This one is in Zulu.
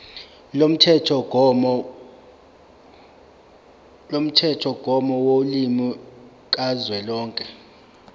lomthethomgomo wolimi kazwelonke